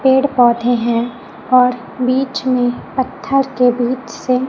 पेड़ पौधे हैं और बीच में पत्थर के बीच से--